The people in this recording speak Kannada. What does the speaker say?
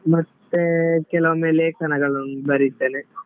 ಮತ್ತೆ ಕೆಲವೊಮ್ಮೆ ಲೇಖನಗಳನ್ನು ಬರಿತೇನೆ.